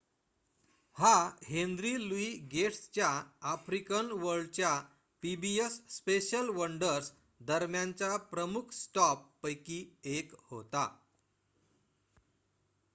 हा Henry Louis गेट्सच्या African वर्ल्डच्या पीबीएस स्पेशल वंडर्स दरम्यानच्या प्रमुख स्टॉप्स पैकी 1 होता